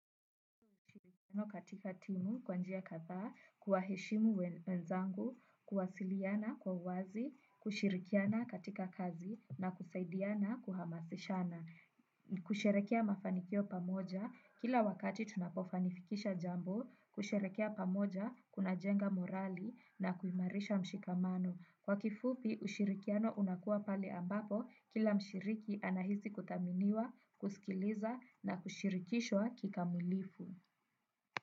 Katika timu, kwanjia kadhaa, kuwa heshimu wenzangu, kuwasiliana kwa uwazi, kushirikiana katika kazi na kusaidiana kuhamasishana. Kusherehekea mafanikio pamoja, kila wakati tunapofanifikisha jambo, kusherehekea pamoja, kuna jenga morali na kuimarisha mshikamano. Kwa kifupi, ushirikiano unakuwa pale ambapo, kila mshiriki anahisi kuthaminiwa, kusikiliza na kushirikishwa kikamulifu.